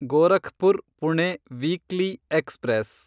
Gorakhpur Pune weekly express